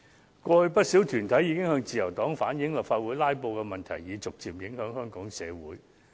過去曾有不少團體向自由黨反映，立法會"拉布"的問題已逐漸影響香港整個社會。